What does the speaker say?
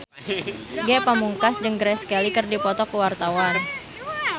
Ge Pamungkas jeung Grace Kelly keur dipoto ku wartawan